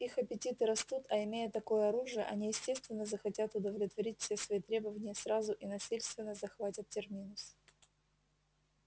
их аппетиты растут а имея такое оружие они естественно захотят удовлетворить все свои требования сразу и насильственно захватят терминус